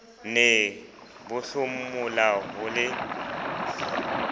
ne bo hlomola ho le